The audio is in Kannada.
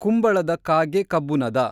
ಕುಂಬಳದ ಕಾಗೆ ಕಬ್ಬುನದ